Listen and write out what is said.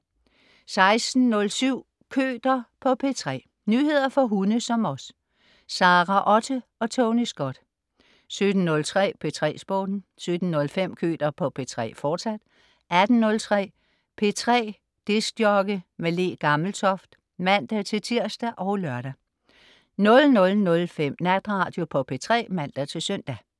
16.07 Køter på P3. Nyheder for hunde som os. Sara Otte og Tony Scott 17.03 P3 Sporten 17.05 Køter på P3, fortsat 18.03 P3 DJ med Le Gammeltoft (man-tirs og lør) 00.05 Natradio på P3 (man-søn)